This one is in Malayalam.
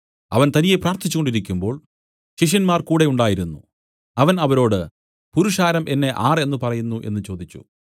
അവൻ തനിയെ പ്രാർത്ഥിച്ചുകൊണ്ടിരിക്കുമ്പോൾ ശിഷ്യന്മാർ കൂടെ ഉണ്ടായിരുന്നു അവൻ അവരോട് പുരുഷാരം എന്നെ ആരെന്ന് പറയുന്നു എന്നു ചോദിച്ചു